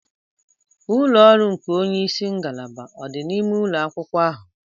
Ulọ ọrụ nke onye isi ngalaba odi n'ime ụlọ akwụkwọ ahụ?